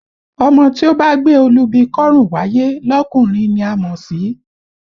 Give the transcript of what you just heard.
Ọmọ tí ó bá gbé olúbi kọ́rùn wáyé lọkùnrin ni a mọ̀ sí?